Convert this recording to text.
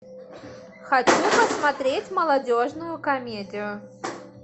хочу посмотреть молодежную комедию